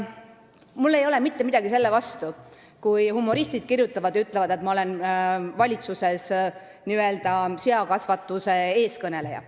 Mul ei ole mitte midagi selle vastu, kui humoristid ütlevad, et ma olen valitsuses seakasvatuse eestkõneleja.